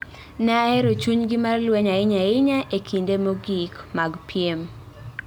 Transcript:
Ne ahero chunygi mar lweny ahinya ahinya e kinde mogik mag piem.